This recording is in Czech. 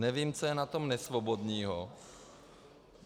Nevím, co je na tom nesvobodného.